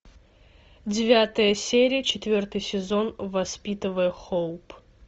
девятая серия четвертый сезон воспитывая хоуп